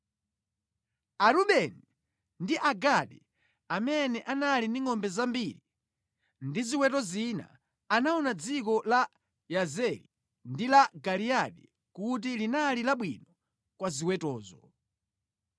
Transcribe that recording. Arubeni ndi Agadi amene anali ndi ngʼombe zambiri ndi ziweto zina anaona dziko la Yazeri ndi la Giliyadi kuti linali labwino kwa ziwetozo.